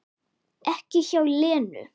Ekki hjá Lenu